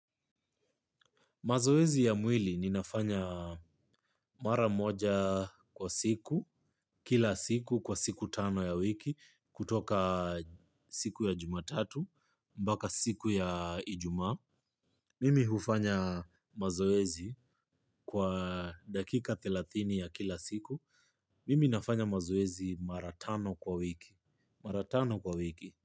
Mazoezi ya mwili ninafanya mara moja kwa siku, kila siku kwa siku tano ya wiki kutoka siku ya jumatatu mpaka siku ya ijumaa. Mimi hufanya mazoezi kwa dakika thelathini ya kila siku. Mimi nafanya mazoezi mara tano kwa wiki. Mara tano kwa wiki.